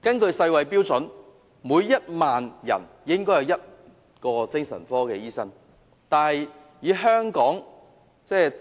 根據世界衞生組織的標準，每1萬人應有1名精神科醫生，但以香港700